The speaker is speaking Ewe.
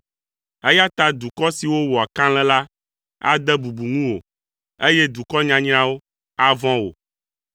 eya ta dukɔ siwo wɔa kalẽ la ade bubu ŋuwò, eye dukɔ nyanyrawo avɔ̃ wò,